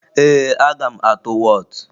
Ee, aga m atụ wọọtụ